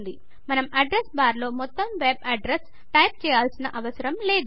మనం అడ్రెస్ బార్లో మొత్తం వెబ్ అడ్రెస్ టైప్ చేయాల్సిన అవసరం లేదు